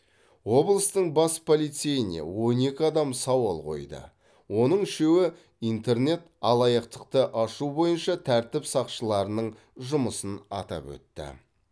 облыстың бас полицейіне он екі адам сауал қойды оның үшеуі интернет алаяқтықты ашу бойынша тәртіп сақшыларының жұмысын атап өтті